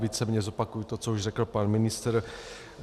Víceméně zopakuji to, co už řekl pan ministr.